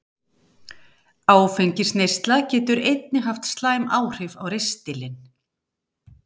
Áfengisneysla getur einnig haft slæmt áhrif á ristilinn.